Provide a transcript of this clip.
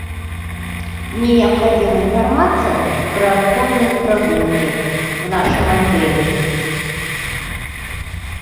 мне необходима информация про конные прогулки в нашем отеле